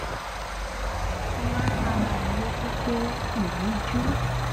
mo wá rán ara mi létí pé ìríjú